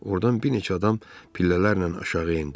Ordan bir neçə adam pillələrlə aşağı endi.